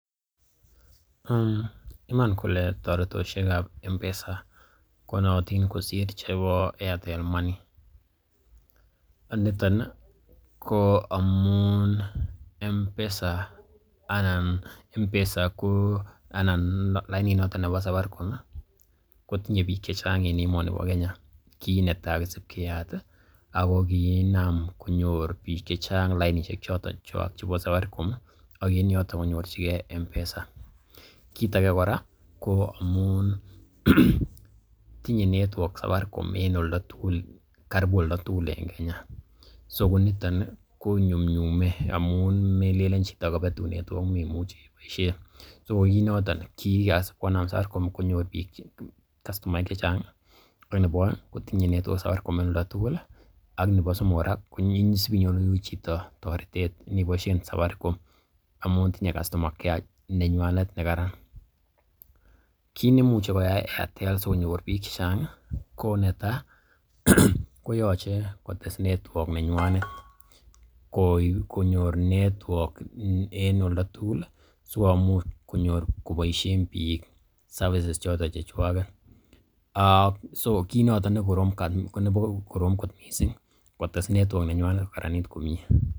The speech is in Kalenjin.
Iman kole toretoshek ab M-Pesa konootin kosir chebp Airtel Money. Nitpn ko amun M-Pesa anan M-Pesa ko anan lainit noton nebo Safaricom ii kotinye biik che chang en emoni bo Kenya kinetai kosib keyat ago kiinam konyor biik che chang lainishek choton chechwak chubo Safaricom, ak en yoton konyorchige M-Pesa. Kiit age kora koamun tinye network Safaricom en oldo tugul karibu oldo tugul en Kenya ko niton ii konyumnyume amun melelen chito kobetun network memuche iboisien. So ko kiit noton kigasib konam Safaricom konyor kastomaeek che chang ak nebo oeng kotinye network Safaricom en oldo tugul ak nebo somok kora ko isib inyoru chito toretet iniboishen Safaricom amun tinye customer care nenywanet nekaran. Kiit neimuche koyai Airtel asikonyor biik che chang i, ko netai koyoche kotes network nenywanet konyor network en oldo tugul sikomuch konyor koboishen biik services choton chechwaget ak so kiit noton ne korom kot mising, kotes network nenywanet kokaranit komie.